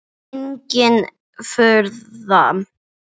Engin furða.